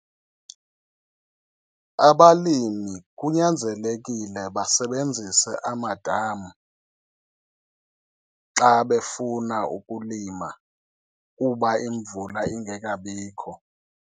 Abalami kunyanzelekile basebenzise amadam xa befuna ukulima kuba imvula ingekabikho.